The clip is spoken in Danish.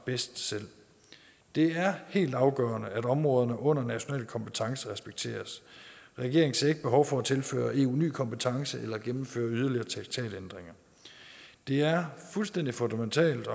bedst selv det er helt afgørende at områderne under national kompetence respekteres regeringen ser ikke behov for at tilføre eu nye kompetencer eller gennemføre yderligere traktatændringer det er fuldstændig fundamentalt